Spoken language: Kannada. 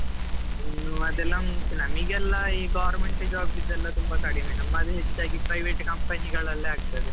ಇನ್ನು ಅದೆಲ್ಲಾ ಉಂಟು ನಮಗೆಲ್ಲಾ ಈ government job ಇದ್ದೆಲ್ಲ ತುಂಬಾ ಕಡಿಮೆ, ನಮ್ಮದು ಹೆಚ್ಚಾಗಿ private company ಗಳಲ್ಲೇ ಆಗ್ತದೆ.